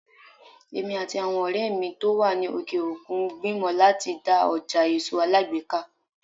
Èmi àti àwọn ọ̀rẹ́ mi tó wà ní òkè òkun ń gbìmọ̀ láti dá ọjà èso alágbèéká.